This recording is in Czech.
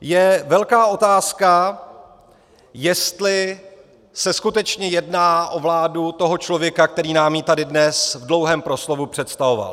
Je velká otázka, jestli se skutečně jedná o vládu toho člověka, který nám ji tady dnes v dlouhém proslovu představoval.